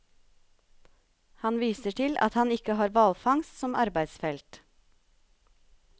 Han viser til at han ikke har hvalfangst som arbeidsfelt.